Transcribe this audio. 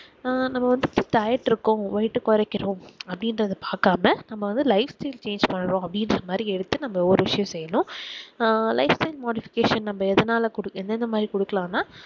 அஹ் நம்ம வந்து diet இருக்கோம் weight அஹ் கொரைக்கிறோம் அப்ப்டிங்குரத பாக்காம நம்ம life style change பண்ணனும் அப்புடின்குற மாதிரி எடுத்து ஒரு விசயம் செய்யணும் அஹ் life time modification நம்ம எதனால எந்தந்தமாதிரி குடுக்கலாம்னா